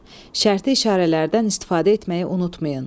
Şərti işarələrdən istifadə etməyi unutmayın.